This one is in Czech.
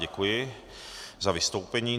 Děkuji za vystoupení.